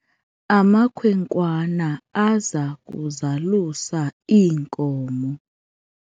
amakhwenkwana aza kuzalusa iinkomo